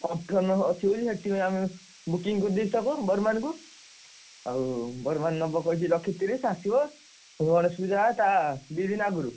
Competition ଅଛି ସେଠି ଆମେ ସେଠି ଆମେ booking କରିଦେଇଛୁ ତାକୁ ବର୍ମାନ କୁ ଆଉ ବର୍ମାନ କହିଛି ନବ ଲକ୍ଷେତିରିଶ ଆସିବ ଏ ଯୋଉ ଗଣେଶପୂଜା ତା ଦି ଦିନ ଆଗରୁ।